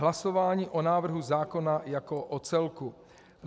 Hlasování o návrhu zákona jako o celku.